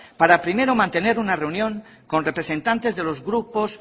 para primero mantener una reunión con representantes de los grupos